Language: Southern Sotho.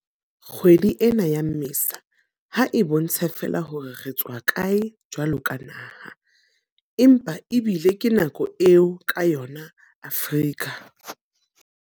Kgwedi ena ya Mmesa ha e bontshe feela hore re tswa kae jwaloka naha, empa ebile ke nako eo ka yona Afrika